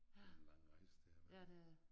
Det en lang rejse det har været